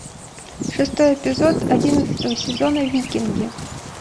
шестой эпизод одиннадцатого сезона викинги